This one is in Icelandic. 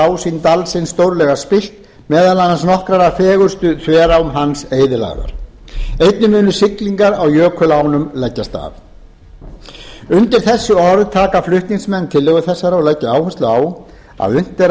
ásýnd dalsins stórlega spillt meðal annars nokkrar af fegurstu þverám hans eyðilagðar einnig munu siglingar á jökulánum leggjast af undir þessi orð taka flutningsmenn tillögu þessarar og leggja áherslu á að unnt er að